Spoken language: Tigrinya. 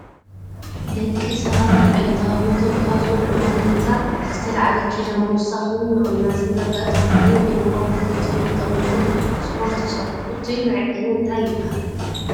ደቂ ሰባት ኣብ ዕለታዊ ሂወቶም ካብ ዝበልዕዎም ምግብታት ዝተልዓለ ኪሎ ምውሳክ ምቅናስን ዘጋጥም ኮይኑ ዘለዎም ክብደት ፈሊጦም ድማ ስፖርት ይሰርሑ። እቱይ መዐቀኒ እንታይ ይብሃል?